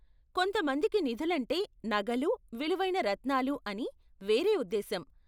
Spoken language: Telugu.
కొంతమందికి నిధులంటే నగలు, విలువైన రత్నాలూ అని వేరే ఉద్దేశ్యం.